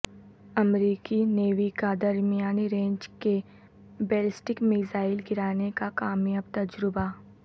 امریکی نیوی کا درمیانی رینج کے بیلسٹک میزائل گرانے کا کامیاب تجربہ